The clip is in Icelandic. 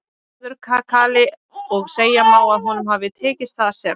Þórður kakali og segja má að honum hafi tekist það sem